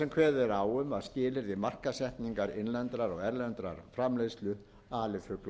kveðið er á um skilyrði markaðsetningar innlendrar og erlendra framleiðslu alifuglakjöts